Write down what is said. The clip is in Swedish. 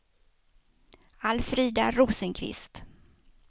Alfrida Rosenqvist